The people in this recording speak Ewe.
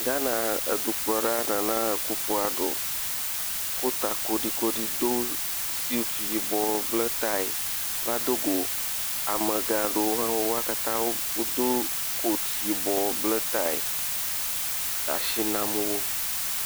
Ghana dukpɔla Nana Akuffo Addo ko ta kolikoli do suti yibɔ bla taya va dogo amegã aɖewo, wo katã wodo kotu hebla taya le asi nam wo.